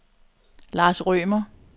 Lars Rømer